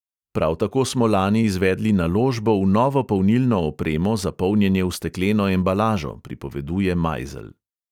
Prav tako smo lani izvedli naložbo v novo polnilno opremo za polnjenje v stekleno embalažo," pripoveduje majzelj.